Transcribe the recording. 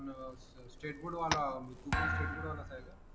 पण state board वाला मी तू पण स्टेट बोर्ड वाला च आहे का